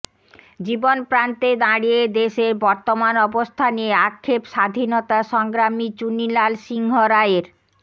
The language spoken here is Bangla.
জীবনপ্রান্তে দাঁড়িয়ে দেশের বর্তমান অবস্থা নিয়ে আক্ষেপ স্বাধীনতা সংগ্রামী চুনিলাল সিংহরায়ের